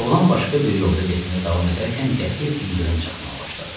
Oğlan başqa bir yolda getməyə davam edərkən qəfil ildırım çaxmağa başladı.